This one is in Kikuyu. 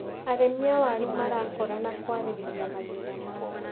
Arĩmi a waru marakorana kwarĩrĩria mathina mao.